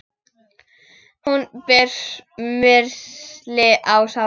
Hún ber smyrsli á sárin.